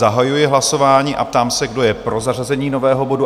Zahajuji hlasování a ptám se, kdo je pro zařazení nového bodu?